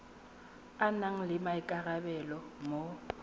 a nang le maikarabelo mo